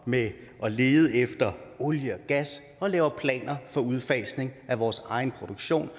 med at lede efter olie og gas og lave planer for udfasning af vores egen produktion